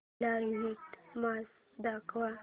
live match दाखव